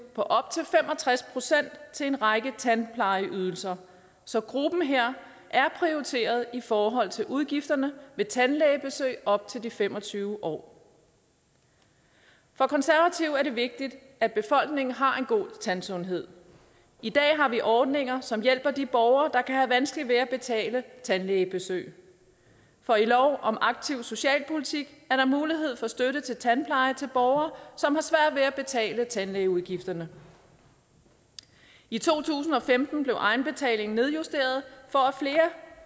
på op til fem og tres procent til en række tandplejeydelser så gruppen her er prioriteret i forhold til udgifterne ved tandlægebesøg op til de fem og tyve år for konservative er det vigtigt at befolkningen har en god tandsundhed i dag har vi ordninger som hjælper de borgere der kan have vanskeligt ved at betale tandlægebesøg for i lov om aktiv socialpolitik er der mulighed for støtte til tandpleje til borgere som har svært ved at betale tandlægeudgifterne i to tusind og femten blev egenbetalingen nedjusteret